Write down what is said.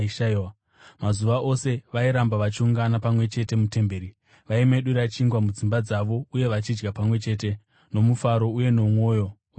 Mazuva ose vairamba vachiungana pamwe chete mutemberi. Vaimedura chingwa mudzimba dzavo uye vachidya pamwe chete nomufaro uye nomwoyo wakanaka,